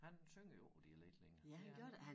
Han synger jo ikke på dialekt længere det er han